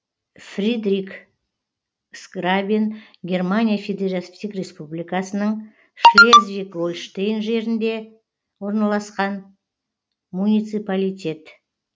фридриксграбен германия федеративтік республикасының шлезвиг гольштейн жерінде орналасқан муниципалитет